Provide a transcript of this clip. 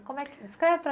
Como é que, descreve para